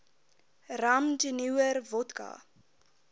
rum jenewer wodka